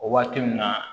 O waati mun na